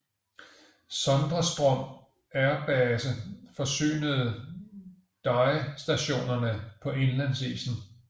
Sondrestrom Air Base forsynede DYE stationerne på indlandsisen